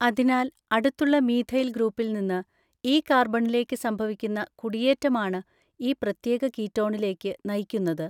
അതിനാൽ അടുത്തുള്ള മീഥൈൽ ഗ്രൂപ്പിൽ നിന്ന് ഈ കാർബണിലേക്ക് സംഭവിക്കുന്ന കുടിയേറ്റമാണ് ഈ പ്രത്യേക കീറ്റോണിലേക്ക് നയിക്കുന്നത്.